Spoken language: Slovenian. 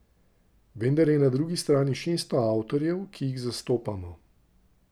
Vendar je na drugi strani šeststo avtorjev, ki jih zastopamo.